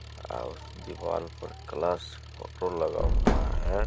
अ-उस दीवाल पर कलश फोटो लगा हुआ है।